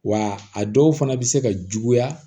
Wa a dɔw fana bɛ se ka juguya